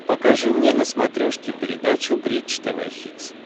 покажи мне на смотрешке передачу бридж тв хитс